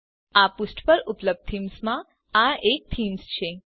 આ પુષ્ઠ પર ઉપલબ્ધ થીમ્સમાંની આ એક થીમ છે